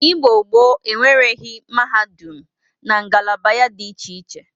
Igbo gboo enwereghi mahadum na ngalaba ya dị iche iche.